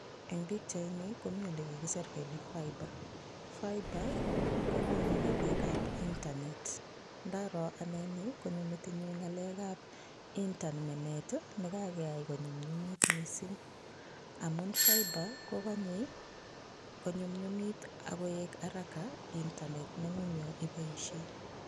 En pichaini komii elekikisir kelee faiba, faiba kokonu ngalekab internet, ndaroo anee nii konyoo metinyun ngalekab internet nekakeyai konyumnyumit mising, amuun faiba kokonye konyumnyumit akoik haraka internet nengung yoon iboishen.